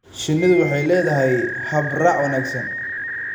Shinnidu waxay leedahay hab-raac wanaagsan.